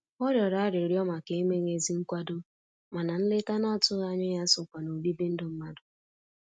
Ọ rịọrọ arịrịọ màkà emeghị ezi nkwado, mana nleta n'atụghị ányá ya sokwa n'obibi ndụ mmadụ.